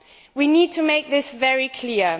We need to make this very clear.